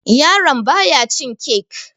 yaraon baya cin kek